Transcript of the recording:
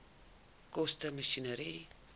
koste masjinerie